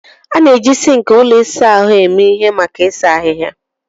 A na-eji sink ụlọ ịsa ahụ eme ihe maka ịsa ahịhịa.